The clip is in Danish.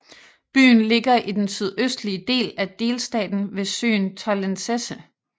Byen ligger i den sydøstlige del af delstaten ved søen Tollensesee